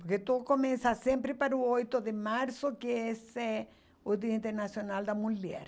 Porque tudo começa sempre para o oito de março, que esse é o Dia Internacional da Mulher.